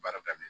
Baara daminɛ